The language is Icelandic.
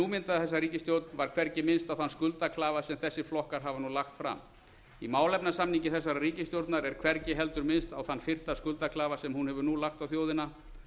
mynda þessa ríkisstjórn var hvergi minnst á þann skuldaklafa sem þessir flokkar hafa nú lagt fram í málefnasamningi þessarar ríkisstjórnar er hvergi heldur minnst á þann fyrsta skuldaklafa sem hún hefur nú lagt á þjóðina